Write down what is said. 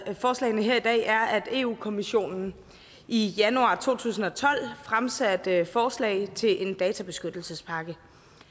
forslagene her i dag er at europa kommissionen i januar to tusind og tolv fremsatte forslag til en databeskyttelsespakke